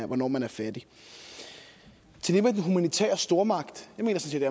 hvornår man er fattig til det med den humanitære stormagt vil jeg sige